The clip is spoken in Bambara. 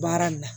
Baara nin na